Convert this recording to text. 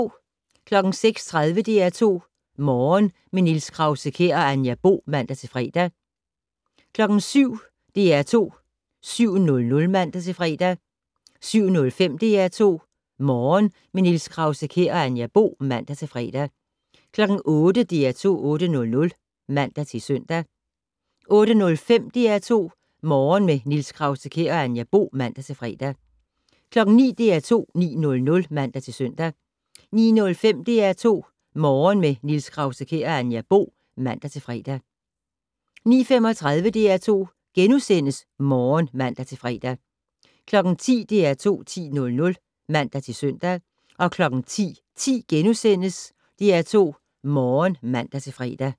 06:30: DR2 Morgen - med Niels Krause-Kjær og Anja Bo (man-fre) 07:00: DR2 7:00 (man-fre) 07:05: DR2 Morgen - med Niels Krause-Kjær og Anja Bo (man-fre) 08:00: DR2 8:00 (man-søn) 08:05: DR2 Morgen - med Niels Krause-Kjær og Anja Bo (man-fre) 09:00: DR2 9:00 (man-søn) 09:05: DR2 Morgen - med Niels Krause-Kjær og Anja Bo (man-fre) 09:35: DR2 Morgen *(man-fre) 10:00: DR2 10:00 (man-søn) 10:10: DR2 Morgen *(man-fre)